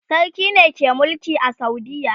sarki ne ke Mulki a saudiya